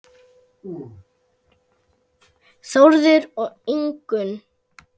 Þórður og Ingunn.